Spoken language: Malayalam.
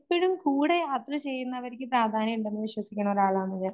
എപ്പഴും കൂടെ യാത്ര ചെയ്യുന്നവരക്ക് പ്രാധാന്യ ഇണ്ടെന്ന് വിശ്വസിക്കുനൊരാളാണ് ഞാൻ.